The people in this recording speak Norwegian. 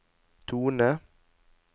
tone